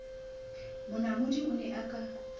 monamodi a ne a ka